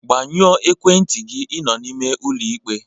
Gbanyụọ ekwentị gị, ịnọ n'ime ụlọ ikpe!